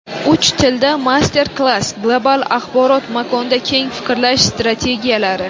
Uch tilda master-klass: Global axborot makonda keng fikrlash strategiyalari.